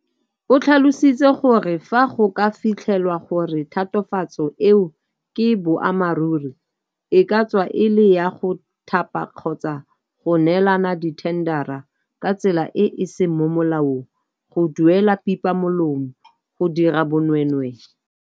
O tlhalositse gore fa go ka fitlhelwa gore tatofatso eo ke boammaruri, e ka tswa e le ya go thapa kgotsa go neelana ka dithendara ka tsela e e seng mo molaong, go duelwa pipa molomo, go dira bonweenwee